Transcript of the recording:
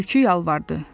Tülkü yalvardı.